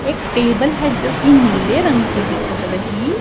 एक टेबल है जो कि नीले रंग की दिखत रही।